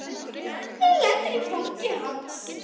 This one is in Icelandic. Hún lendir í fangi hans.